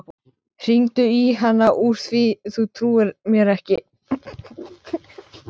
Hringdu í hana úr því þú trúir mér ekki.